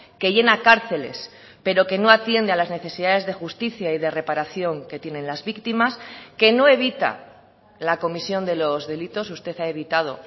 que llena cárceles pero que no atiende a las necesidades de justicia y de reparación que tienen las víctimas que no evita la comisión de los delitos usted ha evitado